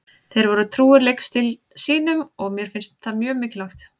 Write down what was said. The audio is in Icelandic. Þeir voru trúir leikstíl sínum og mér finnst það mjög mikilvægt.